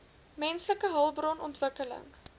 menslike hulpbron ontwikkeling